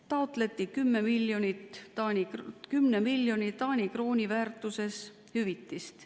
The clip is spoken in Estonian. Taotleti 10 miljoni Taani krooni väärtuses hüvitist.